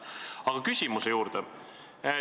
Aga nüüd küsimuse juurde.